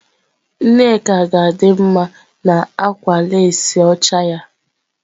Nneka ga-adị mma na akwa leesị ọcha ya.